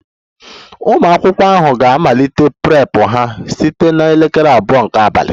Ụmụ akwụkwọ ahụ ga-amalite Prep ha site na elekere abụọ nke abalị